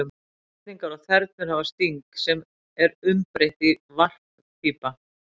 Drottningar og þernur hafa sting, sem er umbreytt varppípa.